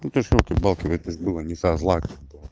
ну то есть ёлки палки это ж было не со зла как бы